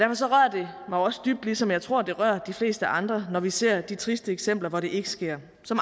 det mig også dybt ligesom jeg tror det rører de fleste andre når vi ser de triste eksempler hvor det ikke sker som